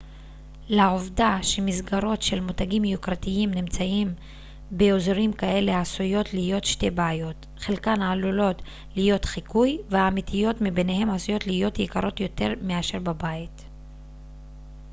לעובדה שמסגרות של מותגים יוקרתיים נמצאים באזורים כאלה עשויות להיות שתי בעיות חלקן עלולות להיות חיקוי והאמיתיות מביניהן עשויות להיות יקרות יותר מאשר בבית